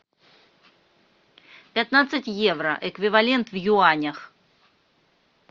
пятнадцать евро эквивалент в юанях